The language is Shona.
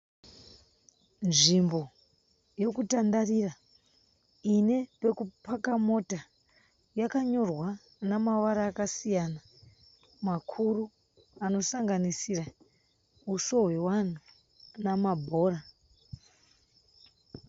Nzvimbo yokutandarira ine pekupaka mota. Yakanyorwa namavara akasiyana makuru anosanganisira huso hwevanhu namabhora.